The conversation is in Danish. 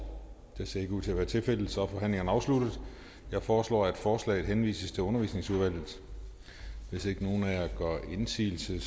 det ser ikke ud til at være tilfældet så er forhandlingen afsluttet jeg foreslår at forslaget henvises til undervisningsudvalget hvis ikke nogen af jer gør indsigelse